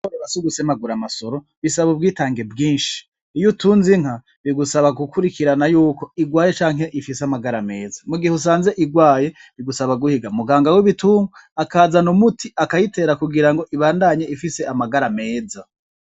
Kworora sugusemagura amasoro bigusaba ubwitange bwinshi Iyo utunze inka bigusaba gukurikirana yuo igwaye canke ifise amagara meza mugihe usanze igwaye bigusaba guhiga muganga wibitungwa akazana umuti akayitera kugirango ibandanye ifise amagara meza.